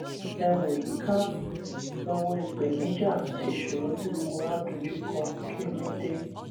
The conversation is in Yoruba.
ẹ wo yíká ẹ wo ìpèníjà àti ìṣòro tí gbogbo wa dojúkọ kí ló dé